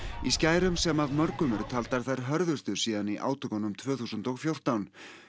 í skærum sem af mörgum eru taldar þær hörðustu síðan í átökunum tvö þúsund og fjórtán